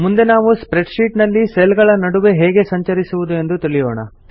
ಮುಂದೆ ನಾವು spreadsheet ನಲ್ಲಿ ಸೆಲ್ ಗಳ ನಡುವೆ ಹೇಗೆ ಸಂಚರಿಸುವುದೆಂದು ತಿಳಿಯೋಣ